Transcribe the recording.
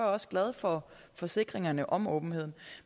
også glad for forsikringerne om åbenhed